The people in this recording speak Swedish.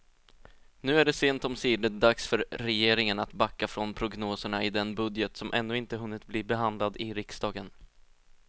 Nu är det sent omsider dags för regeringen att backa från prognoserna i den budget som ännu inte hunnit bli behandlad i riksdagen.